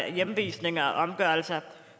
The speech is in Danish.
hjemvisninger og omgørelser